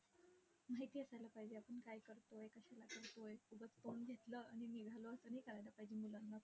माहिती असायला पाहिजे, आपण काय करतोय. कशाला करतोय, उगाच phone घेतलं आणि निघालो, असं नाही करायला पाहिजे मुलांना.